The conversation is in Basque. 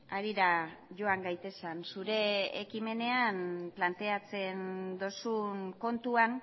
harira joan gaitezen zure ekimenean planteatzen duzun kontuan